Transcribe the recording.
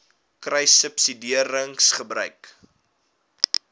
kruissubsidiëringgebruik